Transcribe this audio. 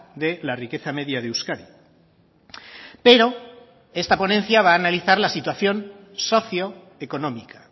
de la riqueza media de euskadi pero esta ponencia va a analizar la situación socioeconómica